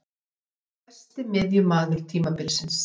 Hefur verið einn besti miðjumaður tímabilsins.